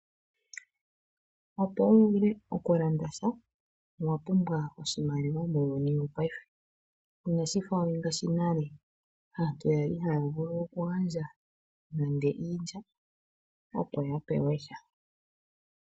Opo uvule okulanda sha owapumbwa oshimaliwa muuyuni wopaife inashifa ngaashi monale aantu yali haya vulu oku gandja nande iilya opo ya pewe sha.